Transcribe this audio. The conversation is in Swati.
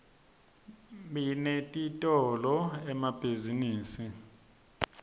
binetitolo emabihzinibini